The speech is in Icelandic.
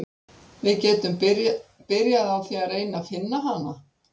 Við getum byrjað á því að reyna að finna hana.